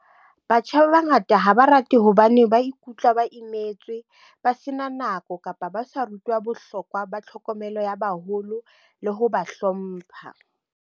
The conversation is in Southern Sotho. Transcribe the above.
Batjha ba bangata ha ba rate hobane ba ikutlwa ba imetswe, ba sena nako, kapa ba sa rutwa bohlokwa ba tlhokomelo ya baholo le ho ba hlompha.